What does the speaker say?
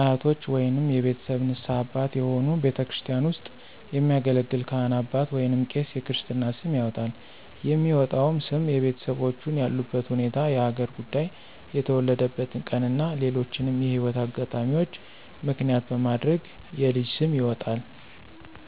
አያቶች ወይንም የቤተሰብ ንስሀ አባት የሆኑ ቤተክርስቲያን ውስጥ የሚያገለግል ካህን አባት ወይንም ቄስ የክርስትና ስም ያወጣል። የሚወጣውም ስም የቤተሰቦቹን ያሉበት ሁኔታ፣ የሀገር ጉዳይ፣ የተወለደበትን ቀን እና ሌሎችንም የህይወት አጋጣሚዎች ምክንያት በማድረግ የልጅ ስም ይወጣል።